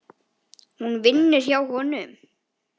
Hún vinnur hjá honum.